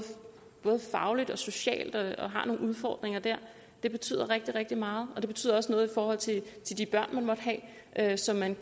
fagligt og socialt og har nogle udfordringer der det betyder rigtig rigtig meget og det betyder også noget i forhold til til de børn man måtte have som man